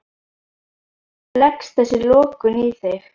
Hvernig leggst þessi lokun í þig?